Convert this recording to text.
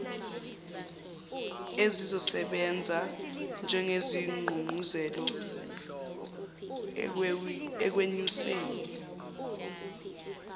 ezizosebenza njengesigqugquzelo ekwenyuseni